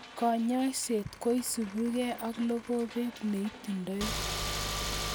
Konyoiset kosubikei ak logobet neitindoi